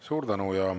Suur tänu!